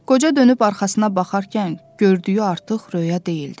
Qoca dönüb arxasına baxarkən gördüyü artıq röya deyildi.